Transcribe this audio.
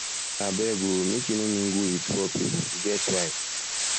abeg o make you no mingle wit poor pipo e get why